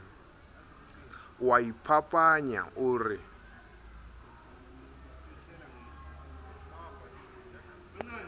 o a iphapanya o re